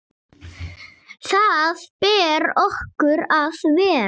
Þar ber okkur að vera!